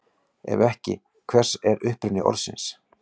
Ef ekki, hver er uppruni orðsins?